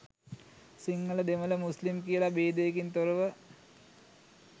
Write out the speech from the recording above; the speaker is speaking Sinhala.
සිංහල දෙමළ මුස්ලිම් කියලා භේදයකින් තොරව